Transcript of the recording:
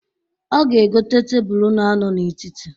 O ga-egota tebulu na-anọ n'etiti.